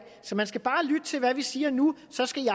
så man skal bare lytte til hvad vi siger nu så skal